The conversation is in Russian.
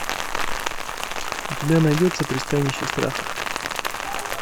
у тебя найдется пристанище страха